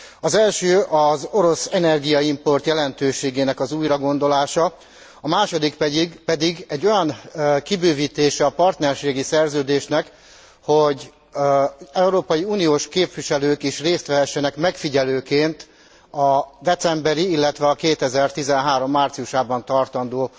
Az első az orosz energiaimport jelentőségének az újragondolása, a második pedig egy olyan kibővítése a partnerségi szerződének, hogy európai uniós képviselők is részt vehessenek megfigyelőként a decemberi, illetve a 2013 márciusában tartandó